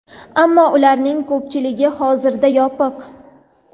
Ammo ularning ko‘pchiligi hozirda yopiq.